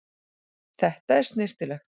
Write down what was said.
Þetta er snyrtilegt.